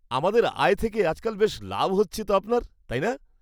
আমাদের আয় থেকে আজকাল বেশ লাভ হচ্ছে তো আপনার, তাই না?